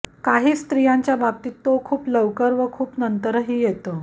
काही स्त्रियांच्या बाबतीत तो खूप लवकर व खूप नंतरही येतो